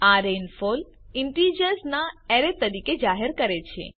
આ rainfall integers ના array તરીકે જાહેર કરે છે